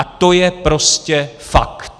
A to je prostě fakt.